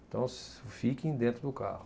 Então, fiquem dentro do carro.